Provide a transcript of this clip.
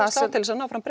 til að ná fram